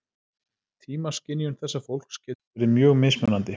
Tímaskynjun þessa fólks getur verið mjög mismunandi.